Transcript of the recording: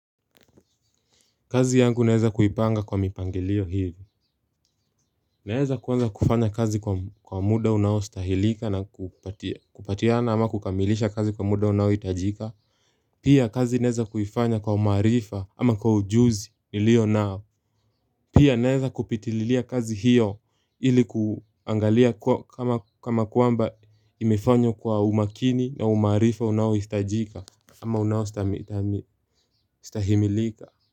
Kazi yangu naeza kuipanga kwa mipangilio hivi Naeza kwanza kufanya kazi kwa muda unaostahilika na kupatiana ama kukamilisha kazi kwa muda unaohitajika Pia kazi naeza kuifanya kwa umaarifa ama kwa ujuzi nilionao Pia naeza kupitililia kazi hiyo ili kuangalia kama kwamba imefanywa kwa umakini na umaarifa unaohistajika ama unaoistahimilika.